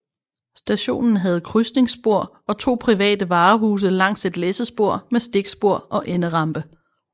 Stationen havde krydsningsspor og to private varehuse langs et læssespor med stikspor og enderampe